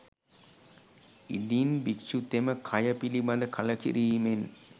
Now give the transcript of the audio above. ඉදින් භික්‍ෂුතෙම කය පිළිබඳ කලකිරීමෙන්